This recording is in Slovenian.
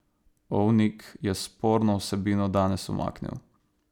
Ovnik je sporno vsebino danes umaknil.